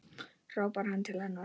hrópar hann til hennar.